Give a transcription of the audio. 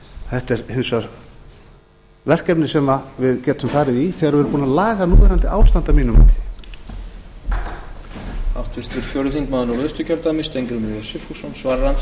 þetta er hins vegar verkefni sem við getum farið í þegar við erum búin að laga núverandi ástand að mínu mati